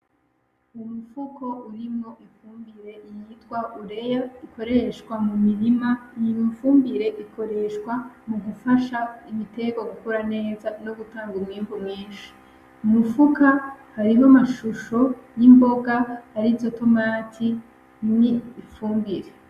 Ni umufuko urimwo ifumbire yitwa «UREA » ikoreshwa mu mirima, iyo fumbire ikoreshwa mugufasha imitegwa gukura neza nogutanga umwimbu mwinshi. Mu mifuka harimwo amashusho y’imboga arizo tomati, n’ifumbire.